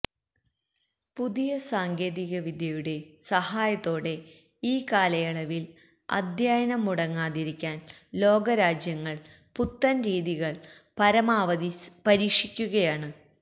പുതിയ സാങ്കേതികവിദ്യയുടെ സഹായത്തോടെ ഈ കാലയളവിൽ അധ്യയനം മുടങ്ങാതിരിക്കാൻ ലോക രാജ്യങ്ങൾ പുത്തൻ രീതികൾ പരമാവധി പരീക്ഷിക്കുകയാണ്